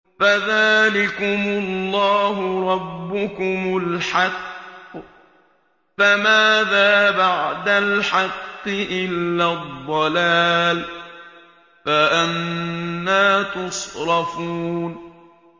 فَذَٰلِكُمُ اللَّهُ رَبُّكُمُ الْحَقُّ ۖ فَمَاذَا بَعْدَ الْحَقِّ إِلَّا الضَّلَالُ ۖ فَأَنَّىٰ تُصْرَفُونَ